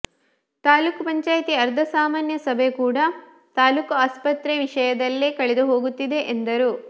ತಾಲೂಕು ಪಂಚಾಯಿತಿ ಅರ್ಧ ಸಾಮಾನ್ಯ ಸಭೆ ಕೂಡಾ ತಾಲೂಕು ಆಸ್ಪತ್ರೆ ವಿಷಯದಲ್ಲೇ ಕಳೆದು ಹೋಗುತ್ತಿದೆ ಎಂದರು